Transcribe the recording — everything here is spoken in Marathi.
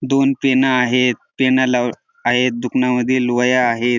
दोन पेन आहेत पेनाला आहेत दुकनामध्ये वह्या आहेत.